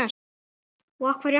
Og af hverju ekki?